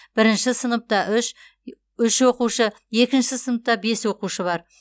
бірінші сыныпта үш үш оқушы екінші сыныпта бес оқушы бар